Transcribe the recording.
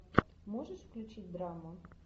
можешь включить драму